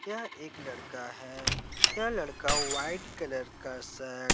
यह एक लड़का है यह लड़का व्हाइट कलर का शर्ट --